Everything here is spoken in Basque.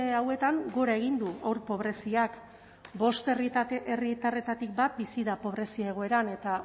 hauetan gora egin du haur pobreziak bost herritarretatik bat bizi da pobrezia egoeran eta